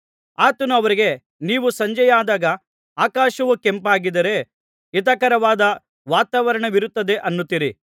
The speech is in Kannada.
ಆತನು ಅವರಿಗೆ ನೀವು ಸಂಜೆಯಾದಾಗ ಆಕಾಶವು ಕೆಂಪಾಗಿದ್ದರೆ ಹಿತಕರವಾದ ವಾತಾವರಣವಿರುತ್ತದೆ ಅನ್ನುತ್ತೀರಿ